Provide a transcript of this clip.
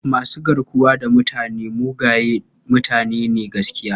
Masu garkuwa da mutane mugaye mutane ne gaskiya..